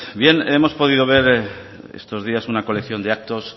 bien hemos podido ver estos días una colección de actos